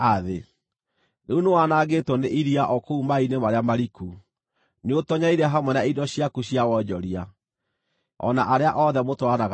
Rĩu nĩwanangĩtwo nĩ iria o kũu maaĩ-inĩ marĩa mariku; nĩũtoonyereire hamwe na indo ciaku cia wonjoria, o na arĩa othe mũtwaranaga nao.